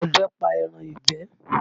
Ọdẹ pa ẹran ìgbẹ́